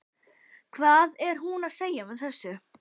Hvað er hún að segja með þessu?